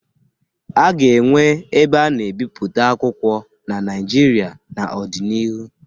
A ga-enwe ebe ana ebipụta akwụkwọ na naijịrịa n'odi n'ihu